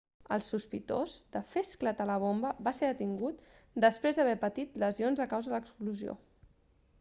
el sospitós de fer esclatar la bomba va ser detingut després d'haver patit lesions a causa de l'explosió